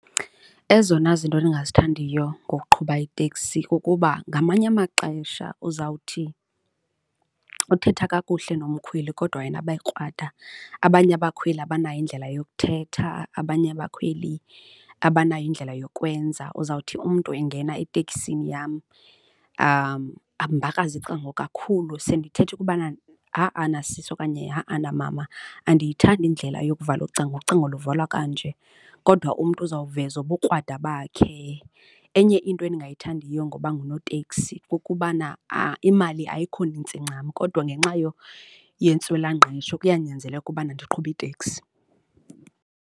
Ezona zinto endingazithandiyo ngokuqhuba iteksi kukuba ngamanye amaxesha uzawuthi uthetha kakuhle nomkhweli kodwa yena abe krwada. Abanye abakhweli abanayo indlela yokuthetha, abanye bakhweli abanayo indlela yokwenza. Uzawuthi umntu engena eteksini yam ambakraze icango kakhulu sendithetha ukubana ha-ana sisi, okanye ha-ana mama andiyithandi indlela yokuvala ucango, ucango luvalwa kanje. Kodwa umntu uza kuvezwa ubukrwada bakhe. Enye into endingayithandiyo ngoba ngunoteksi kukubana imali ayikho nintsi ncam kodwa ngenxa yentswelangqesho kuyanyanzeleka ukubana ndiqhube iteksi.